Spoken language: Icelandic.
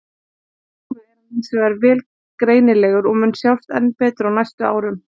Núna er hann hins vegar vel greinilegur og mun sjást enn betur á næstu árum.